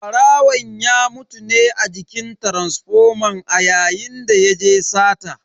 Barawon ya mutu ne a jikin taransifoman a yayin da yaje sata.